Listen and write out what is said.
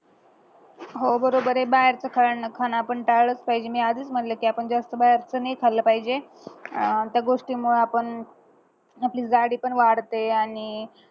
हो बरोबर ये बाहेरचं खाणं आपण टाळलंच पाहिजे मी आधीच म्हणलं की आपण जास्त बाहेरचं नाय खाल्ला पाहिजे अह त्या गोष्टीमुळे आपली जाडी पण वाढते आणि